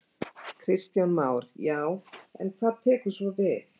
Kristján Már: Já, en hvað tekur svo við?